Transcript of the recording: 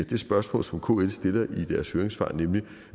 det spørgsmål som kls stiller i deres høringssvar nemlig